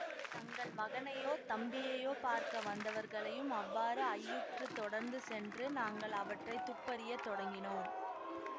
தங்கள் மகனையோ தம்பியையோ பார்க்க வந்தவர்களையும் அவ்வாறு ஐயுற்றுத் தொடர்ந்து சென்று நாங்கள் அவற்றை துப்பறியத் தொடங்கினோம்